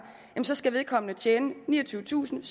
skal vedkommende tjene niogtyvetusinde